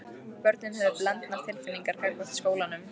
Börnin höfðu blendnar tilfinningar gagnvart skólanum.